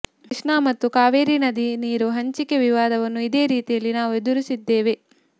ಕೃಷ್ಣಾ ಮತ್ತು ಕಾವೇರಿ ನದಿ ನೀರು ಹಂಚಿಕೆ ವಿವಾದವನ್ನು ಇದೇ ರೀತಿಯಲ್ಲಿ ನಾವು ಎದುರಿಸಿದ್ದೇವೆ